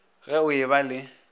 ge o e ba le